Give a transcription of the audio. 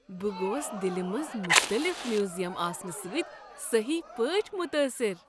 بہٕ گوس دلہ منز مختلف میوزیم آسنہٕ سٕتۍ سہی پٲٹھۍ متاثر۔